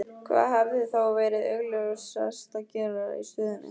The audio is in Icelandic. Hvað hefði þá verið augljósast að gera í stöðunni?